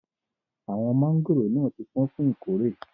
Awọn mangóró náà ti pọ̀n fún ìkórè.